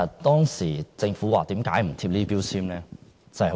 當時政府為何主張不貼標籤呢？